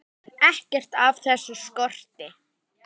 Ekkert af þessu skorti.